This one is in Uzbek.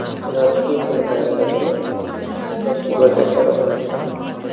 Ular to‘y kuni ayriladimi yoki birga qoladimi?